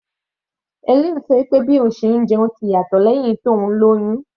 Helen sọ pé bí òun ṣe ń jẹun ti yàtọ̀ lẹ́hìn tó lóyún.